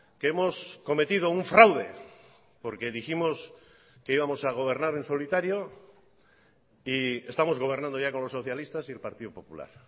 que hemos cometido un fraude porque dijimos que íbamos a gobernar en solitario y estamos gobernando ya con los socialistas y el partido popular